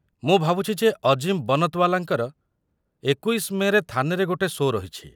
ମୁଁ ଭାବୁଛି ଯେ ଅଜିମ ବନତ୍‌ୱାଲାଙ୍କର ୨୧ ମେ'ରେ ଥାନେରେ ଗୋଟେ ସୋ' ରହିଛି।